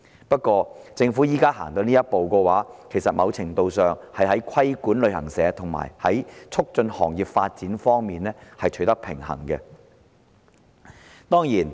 不過，政府現時走出這一步，某程度上是要在規管旅行社與促進行業發展之間取得平衡。